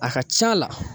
A ka c'a la